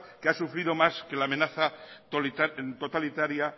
que ha sufrido más que la amenaza totalitaria